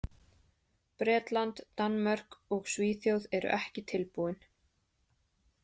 Bretland, Danmörk og Svíþjóð eru ekki tilbúin.